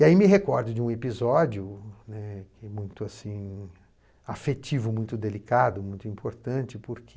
E aí me recordo de um episódio, né, que é muito, assim, afetivo, muito delicado, muito importante, porque